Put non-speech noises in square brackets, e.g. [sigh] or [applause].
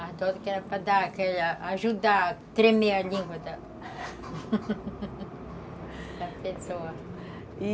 Ardosa que era para dar aquela, ajudar a tremer a língua da pessoa [laughs] e,